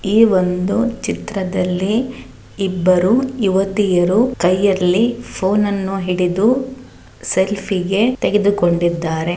ಈ ಒಂದು ಚಿತ್ರದಲ್ಲಿ ಇಬ್ಬರು ಯುವತಿಯರು ಕೈಯಲ್ಲಿ ಫೋನನ್ನು ಹಿಡಿದು ಸೆಲ್ಫಿಯೇ ತೆಗೆದುಕೊಂಡಿದ್ದಾರೆ.